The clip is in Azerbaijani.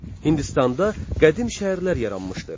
Hindistanda qədim şəhərlər yaranmışdır.